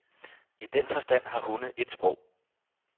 I den forstand har hunde et sprog.